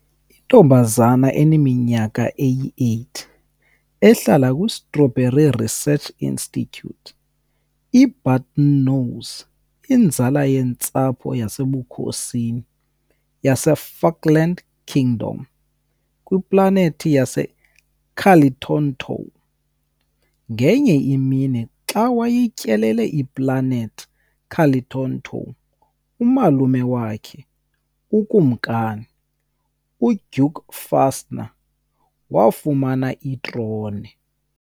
Intombazana eneminyaka eyi-8 ehlala kwi-Strawberry Research Institute, i-Button Nose inzala yentsapho yasebukhosini yaseFukland Kingdom kwiplanethi yaseCalitontou. Ngenye imini, xa wayetyelele iPlanethi Calitontou, umalume wakhe, ukumkani, uDuke Fastener, wafumana itrone.